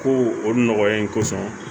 Ko o nɔgɔya in kosɔn